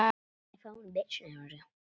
Laufey átti marga góða vini.